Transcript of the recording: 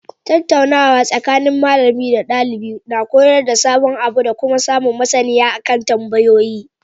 Tattaunawa tsakanin malami da ɗalibi koyar da sabon abu dakuma samun maSaniya akan tambayoyi